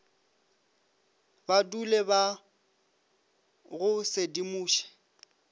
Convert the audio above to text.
ba dule ba go sedimoša